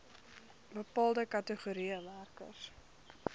bepaalde kategorieë werkers